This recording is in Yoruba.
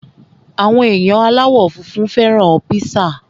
Àwọn èèyàn aláwọ̀ funfun fẹ́ràn píṣà